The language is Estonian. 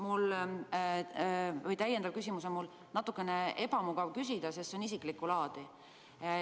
Aga teine, täiendav küsimus on mul selline, mida on natukene ebamugav küsida, sest see on isiklikku laadi.